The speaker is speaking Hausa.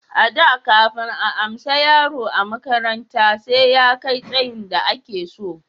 A da kafin a amsa yaro a makaranta sai ya kai tsayin da a ke so